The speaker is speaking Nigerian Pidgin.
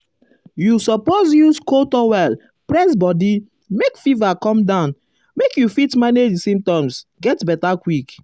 you um suppose use cold towel press body make fever come down make you fit manage um di symptoms get beta quick.